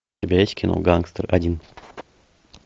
у тебя есть кино гангстер один